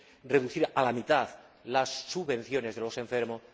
reducción a la mitad de las subvenciones de los enfermos...